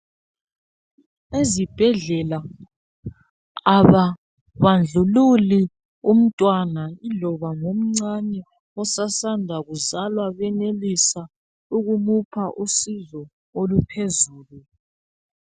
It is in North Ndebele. Ezibhedlela ababandlululi umntwana iloba ngomncani osasanda kuzalwa bemelwisa ukumupha usizo oluphezulu.